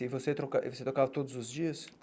E você troca e você tocava todos os dias?